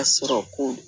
A sɔrɔ ko